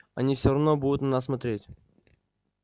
они всё равно будут на нас смотреть